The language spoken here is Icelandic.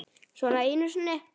Svona einu sinni?